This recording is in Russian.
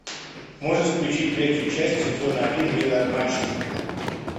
можешь включить третью часть сезона один милые обманщицы